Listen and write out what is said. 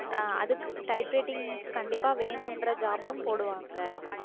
அஹ் அதுக்~ type writing கண்டிப்பா வேணுன்ற job ம் போடுவாங்க